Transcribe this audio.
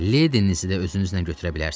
Ledenizi də özünüzlə götürə bilərsiniz.